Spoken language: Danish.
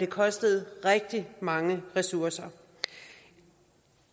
kostede rigtig mange ressourcer